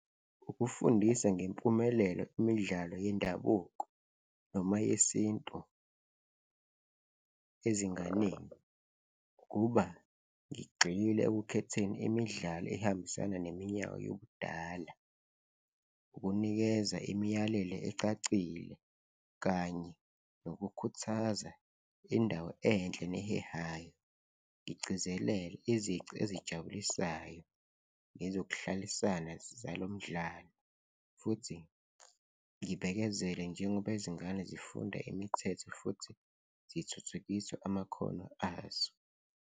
Ukufundisa ngempumelelo imidlalo yendabuko noma yesintu ezinganeni, ukuba ngigxile ekukhetheni imidlalo ehambisana neminyaka yobudala, ukunikeza imiyalelo ecacile kanye nokukhuthaza indawo enhle nehehayo, ngigcizelele izici ezijabulisayo nezokuhlalisana zizala umdlalo futhi ngibekezele njengoba izingane zifunda imithetho futhi zithuthukisa amakhono azo.